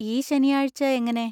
ഈ ശനിയാഴ്ച എങ്ങനെ?